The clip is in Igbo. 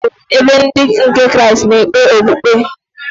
Chọọchị bụ ebe ndị nke Kraịstị na-ekpe okpukpe.